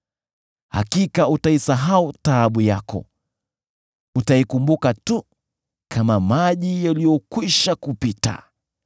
Hakika utaisahau taabu yako, utaikumbuka tu kama maji yaliyokwisha kupita.